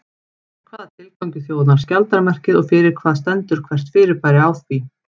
Hvaða tilgangi þjónar skjaldarmerkið og fyrir hvað stendur hvert fyrirbæri á því?